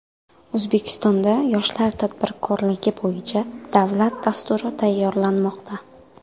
O‘zbekistonda yoshlar tadbirkorligi bo‘yicha davlat dasturi tayyorlanmoqda.